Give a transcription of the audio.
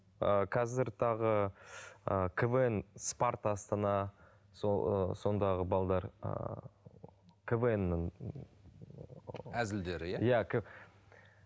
ыыы қазір тағы ыыы квн спарта астана сол сондағы ыыы квн нің ыыы әзілдері иә иә